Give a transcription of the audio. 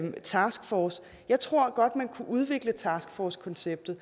en taskforce jeg tror godt man kunne udvikle taskforcekonceptet